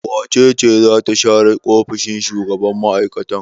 Wace ce za ta share ofishin shugaban mai'aikatan?